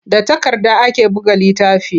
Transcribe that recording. Da takarda ake buga littafi.